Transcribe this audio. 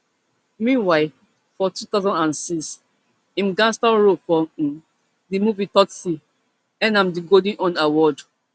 meanwhile for two thousand and six im gangster role for um di movie tsotsi earn am di golden horn award